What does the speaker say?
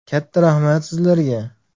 Katta rahmat sizlarga!